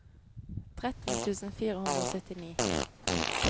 tretten tusen fire hundre og syttini